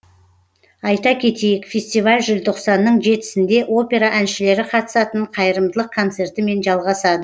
айта кетейік фестиваль желтоқсанның жетісінде опера әншілері қатысатын қайырымдылық концертімен жалғасады